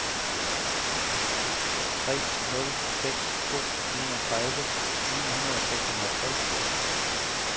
tre nul seks to enogtredive ni hundrede og seksoghalvtreds